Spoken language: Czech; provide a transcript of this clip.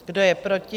Kdo je proti?